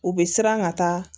U bɛ siran ka taa